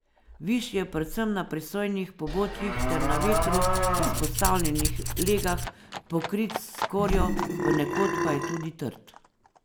Višje predvsem na prisojnih pobočjih ter na vetru izpostavljenih legah pokrit s skorjo, ponekod pa je tudi trd.